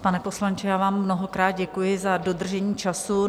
Pane poslanče, já vám mnohokrát děkuji za dodržení času.